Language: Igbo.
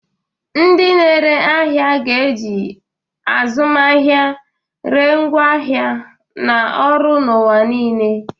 Ndị na-ere ahịa ga-eji e-azụmahịa ree ngwaahịa na ọrụ n'ụwa niile.